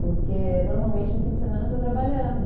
Porque, normalmente, no fim de semana eu estou trabalhando.